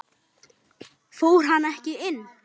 Fór hann ekki inn?